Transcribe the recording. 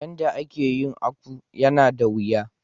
Yan da a ke yin " akpu" ya na da wuya.